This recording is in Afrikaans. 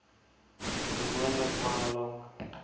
gewoonlik baie lank